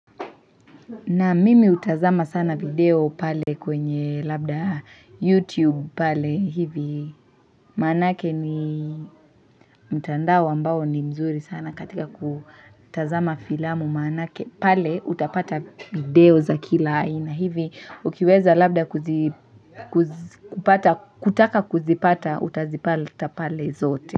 Na mimi hutazama sana video pale kwenye labda YouTube pale hivi maanake ni mtandao ambao ni mzuri sana katika kutazama filamu maanake pale utapata video za kila haina hivi ukiweza labda kutaka kuzipata utazipata pale zote.